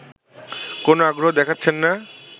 কোন আগ্রহ দেখাচ্ছেনা